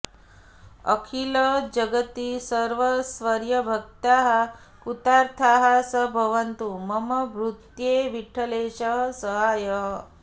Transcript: अखिलजगति सर्वस्वीयभक्ताः कृतार्थाः स भवतु मम भूत्यै विठ्ठलेशः सहायः